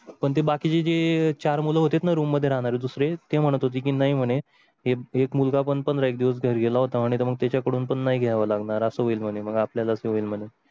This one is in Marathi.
कोणती बाकी ची जे चार मुलं होती रूम मध्ये राहणारी दुसरे ते म्हणत होते की नाही म्हणे एक मुलगा पण एक दिवस घरी गेला होता आणि मग त्याच्याकडून पण नाही घ्यावं लागणार असं होईल म्हणे मग आपल्या लाच होईल म्हणे